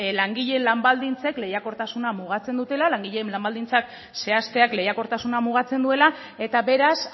langileen lan baldintzek lehiakortasuna mugatzen dutela langileen lan baldintzak zehazteak lehiakortasuna mugatzen duela eta beraz